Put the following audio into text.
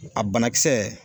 A banakisɛ